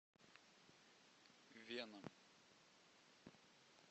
веном